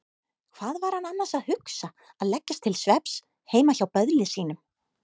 Hvað var hann annars að hugsa að leggjast til svefns heima hjá böðli sínum?